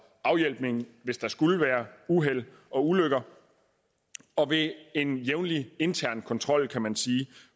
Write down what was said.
afhjælpning hvis der skulle være uheld og ulykker og ved en jævnlig intern kontrol kan man sige